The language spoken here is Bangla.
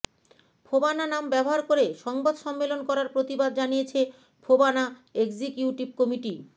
ফোবানা নাম ব্যবহার করে সংবাদ সম্মেলন করার প্রতিবাদ জানিয়েছে ফোবানা এক্সিকিউটিভ কমিটি